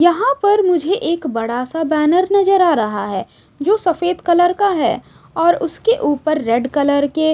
यहां पर मुझे एक बड़ा सा बैनर नजर आ रहा है जो सफेद कलर का है और उसके ऊपर रेड कलर के--